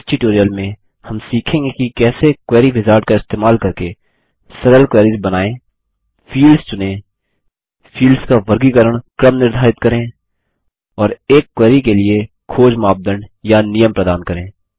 इस ट्यूटोरियल में हम सीखेंगे कि कैसे क्वेरी विजार्ड का इस्तेमाल करके सरल क्वेरीस बनाएँ फील्ड्स चुनें फील्ड्स का वर्गीकरण क्रम निर्धारित करें और एक क्वेरी के लिए खोज मापदंड या नियम प्रदान करें